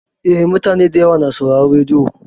Eh, mutane da yawa na sauraron rediyo.